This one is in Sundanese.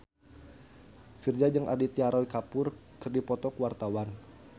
Virzha jeung Aditya Roy Kapoor keur dipoto ku wartawan